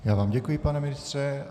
Já vám děkuji, pane ministře.